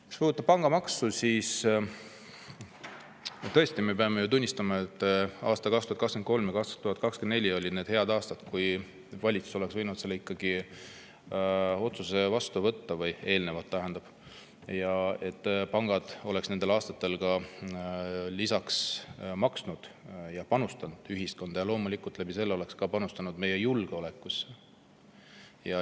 Mis puudutab pangamaksu, siis me peame ju tõesti tunnistama, et 2023 ja 2024 olid head aastad, kui valitsus oleks võinud ikkagi selle otsuse vastu võtta, eelnevalt tähendab, et pangad oleksid nendel aastatel maksnud ja panustanud ühiskonda ning loomulikult oleksid nad sellega panustanud ka meie julgeolekusse.